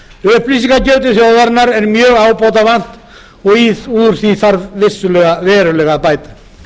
til þjóðarinnar er mjög ábótavant og úr því þarf verulega að bæta